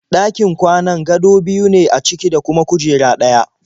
Ɗakin kwanan gado biyu ne a ciki da kuma kujera ɗaya.